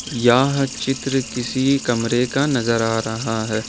यह चित्र किसी कमरे का नजर आ रहा है।